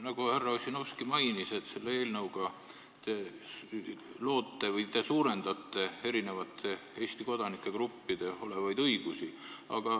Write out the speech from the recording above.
Nagu härra Ossinovski mainis, selle eelnõuga te loote või te suurendate eri Eesti kodanike gruppide õigusi.